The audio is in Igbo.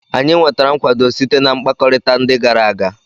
Anyị nwetara nkwado site na mkpakọrịta ndị gara aga.